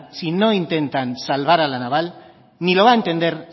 si no intentan salvar a la naval ni lo